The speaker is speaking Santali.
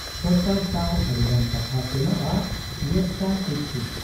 ᱥᱚᱨᱠᱟᱨ ᱥᱟᱶ ᱟᱹᱰᱤᱜᱟᱱ ᱠᱟᱛᱷᱟ ᱥᱮᱱᱚᱜ ᱟ ᱭᱮᱯᱥᱟ ᱴᱤᱯᱥᱤ ᱾